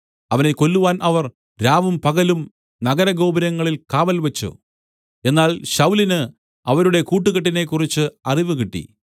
അവനെ കൊല്ലുവാൻ അവർ രാവും പകലും നഗര ഗോപുരങ്ങളിൽ കാവൽ വെച്ച് എന്നാൽ ശൌലിന് അവരുടെ കൂട്ടുകെട്ടിനെ കുറിച്ച് അറിവ് കിട്ടി